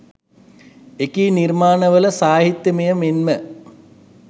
එකී නිර්මාණ වල සාහිත්‍යමය මෙන්ම